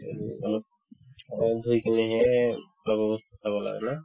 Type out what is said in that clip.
উম, অলপ অকমান থৈ কিনেহে খোৱা-বোৱা বস্তু খাব লাগে ন